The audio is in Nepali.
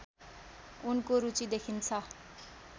उनको रुचि देखिन्छ